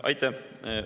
Aitäh!